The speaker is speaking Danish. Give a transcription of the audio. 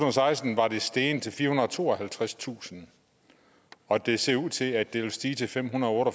og seksten var det steget til firehundrede og tooghalvtredstusind og det ser ud til at det vil stige til femhundrede og